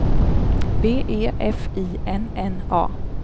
B E F I N N A